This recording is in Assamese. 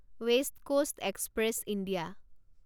west Coast Express India